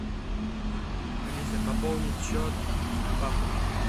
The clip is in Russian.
алиса пополнить счет папы